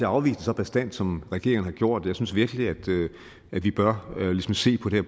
afvise det så bastant som regeringen har gjort jeg synes virkelig at vi bør se på det